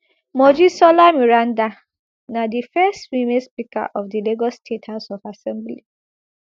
mojisola meranda na di first female speaker of di lagos state house of assembly